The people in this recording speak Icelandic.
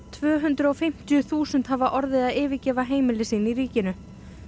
tvö hundruð og fimmtíu þúsund hafa orðið að yfirgefa heimili sín í ríkinu